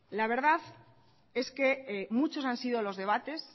la verdad es que muchos han sido los debates